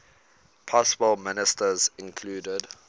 possible ministers included